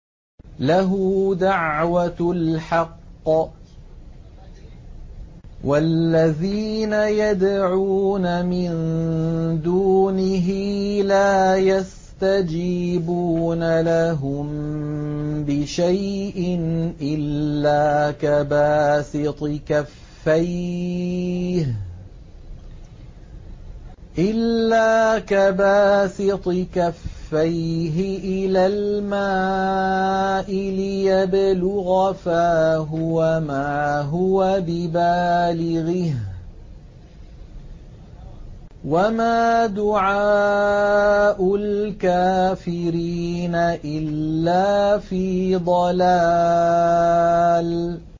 لَهُ دَعْوَةُ الْحَقِّ ۖ وَالَّذِينَ يَدْعُونَ مِن دُونِهِ لَا يَسْتَجِيبُونَ لَهُم بِشَيْءٍ إِلَّا كَبَاسِطِ كَفَّيْهِ إِلَى الْمَاءِ لِيَبْلُغَ فَاهُ وَمَا هُوَ بِبَالِغِهِ ۚ وَمَا دُعَاءُ الْكَافِرِينَ إِلَّا فِي ضَلَالٍ